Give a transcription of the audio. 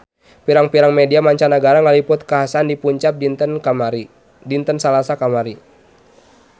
Pirang-pirang media mancanagara ngaliput kakhasan di Punjab dinten Salasa kamari